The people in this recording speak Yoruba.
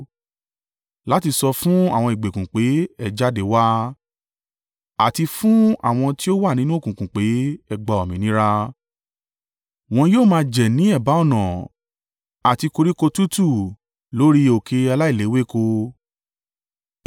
láti sọ fún àwọn ìgbèkùn pé, ‘Ẹ jáde wá,’ àti fún àwọn tí ó wà nínú òkùnkùn pé, ‘Ẹ gba òmìnira!’ “Wọn yóò máa jẹ ní ẹ̀bá ọ̀nà àti koríko tútù lórí òkè aláìléwéko.